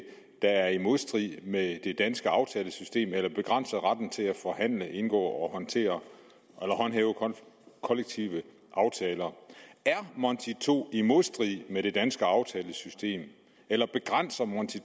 er i modstrid med det danske aftalesystem eller begrænser retten til at forhandle indgå og håndhæve kollektive aftaler er monti ii så i modstrid med det danske aftalesystem eller begrænser monti